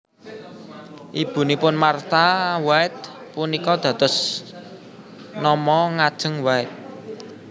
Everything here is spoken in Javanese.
Ibunipun Martha White punika dados nama ngajeng White